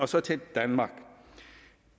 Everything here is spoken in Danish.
så til danmark